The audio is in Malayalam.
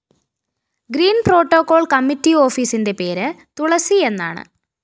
ഗ്രീന്‍പ്രോട്ടോക്കോള്‍ കമ്മിറ്റി ഓഫീസിന്റെ പേര് തുളസിയെന്നാണ്